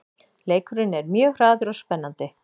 Leikurinn er mjög hraður og spennandi